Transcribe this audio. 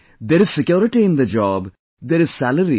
There is security in the job, there is salary